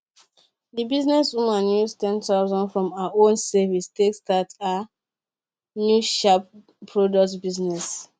the business woman use ten thousand from her own savings take start her new sharp product business